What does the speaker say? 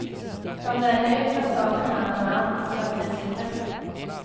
Som det är nu tar staten hand om allt så att vi slipper.